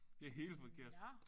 Nåh